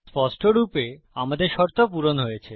স্পষ্টরূপে আমাদের শর্ত পূরণ হয়েছে